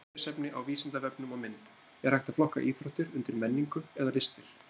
Frekara lesefni á Vísindavefnum og mynd Er hægt að flokka íþróttir undir menningu eða listir?